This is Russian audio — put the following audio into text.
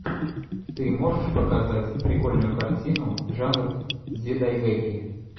ты можешь показать прикольную картину жанр дзидайгэки